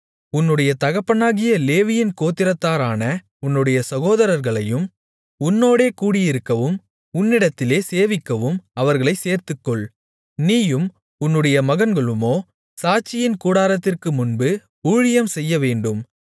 உன்னுடைய தகப்பனாகிய லேவியின் கோத்திரத்தாரான உன்னுடைய சகோதரர்களையும் உன்னோடே கூடியிருக்கவும் உன்னிடத்திலே சேவிக்கவும் அவர்களைச் சேர்த்துக்கொள் நீயும் உன்னுடைய மகன்களுமோ சாட்சியின் கூடாரத்திற்குமுன்பு ஊழியம் செய்யவேண்டும்